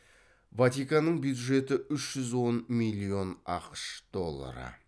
ватиканның бюджеті үш жүз он миллион ақш доллары